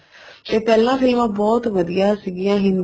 ਤੇ ਪਹਿਲਾਂ ਫ਼ਿਲਮਾ ਬਹੁਤ ਵਧੀਆ ਸੀਗੀਆਂ